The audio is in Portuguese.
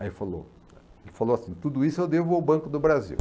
Aí ele falou, ele falou assim, tudo isso eu devo ao Banco do Brasil.